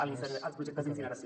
als projectes d’incineració